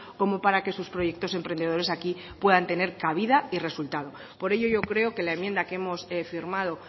como para que sus proyectos emprendedores aquí puedan tener cabida y resultado por ello yo creo que la enmienda que hemos firmado